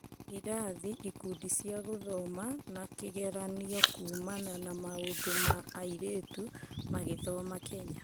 Irathi, ikundi cia gũthoma na kĩgeranio kuumana na maũndũ ma airĩtu magithoma Kenya